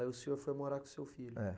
Aí o senhor foi morar com o seu filho. É.